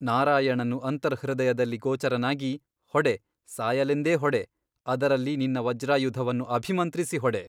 ನಾರಾಯಣನು ಅಂತರ್ಹೃದಯದಲ್ಲಿ ಗೋಚರನಾಗಿ ಹೊಡೆ ಸಾಯಲೆಂದೇ ಹೊಡೆ ಅದರಲ್ಲಿ ನಿನ್ನ ವಜ್ರಾಯುಧವನ್ನು ಅಭಿಮಂತ್ರಿಸಿ ಹೊಡೆ.